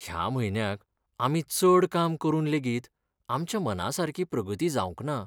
ह्या म्हयन्याक आमी चड काम करून लेगीत आमच्या मनासारकी प्रगती जावंक ना.